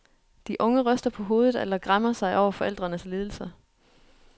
De unge ryster på hovedet eller græmmer sig over forældrenes lidelser.